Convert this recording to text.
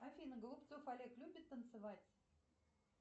афина голубцов олег любит танцевать